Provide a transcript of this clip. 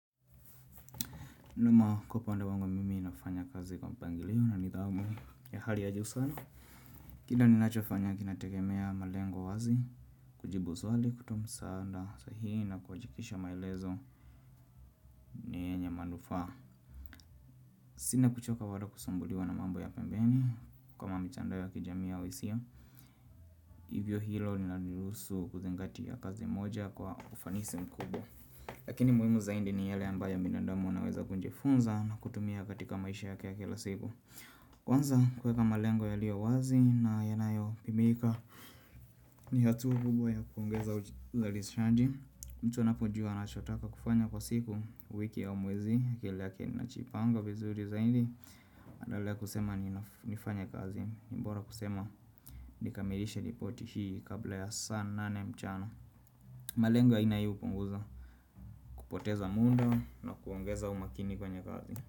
Nyuma kwa upande wangu mimi ninafanya kazi kwa mpangiliu o na nithamu ya hali ya juu sana. Kile ninachofanya kinategemea malengo wazi, kujibu swali, kutoa msaada, saa hiyo na kujikisha maelezo ya manufa. Sina kuchoka wala kusambuliwa na mambo ya pembeni kama mtandao ya kijami au hisia. Hivyo hilo ninalihusu kuzingatia kazi moja kwa ufanisi mkubwa Lakini muhimu zaidi ni yale ambayo binadamu anaweza kunjifunza na kutumia katika maisha yake ya kila siku. Kwanza kuweka malengo yaliyowazi na yanayopimika ni hatua kubwa ya kuongeza uzalishaji mtu anapojua anachotaka kufanya kwa siku wiki ya mwezi Kile yake inajipanga vizuri zaidi naendelea kusema ni nifanya kazi ni bora kusema nikamirisha ripoti hii kabla ya saa nane mchana malengo haina hiyo hupunguza kupoteza muda na kuongeza umakini kwenye kazi.